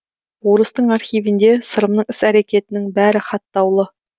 орыстың архивінде сырымның іс әрекетінің бәрі хаттаулы